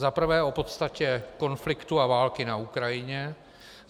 Za prvé o podstatě konfliktu a války na Ukrajině.